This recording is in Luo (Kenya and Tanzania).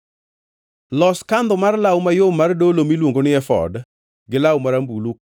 “Los kandho mar law mayom mar dolo miluongo ni efod gi law marambulu,